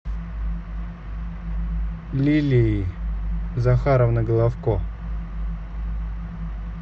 лилии захаровны головко